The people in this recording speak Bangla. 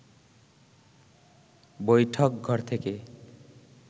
বৈঠকঘর থেকে